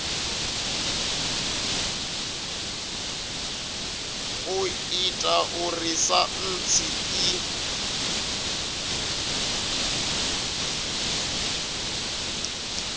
u ita uri saintsi i